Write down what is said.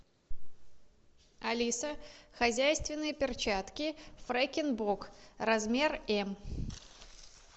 алиса хозяйственные перчатки фрекен бок размер м